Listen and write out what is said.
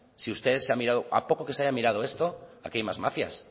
a poco que se haya mirado esto aquí hay más mafias